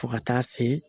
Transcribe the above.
Fo ka taa se